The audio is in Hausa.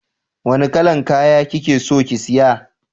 Wanna kalan kaya kikeso ki siya?